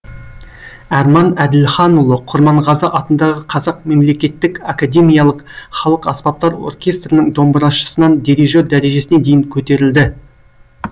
арман әділханұлы құрманғазы атындағы қазақ мемлекеттік академиялық халық аспаптар оркестрының домбырашысынан дирижер дәрежесіне дейін көтерілді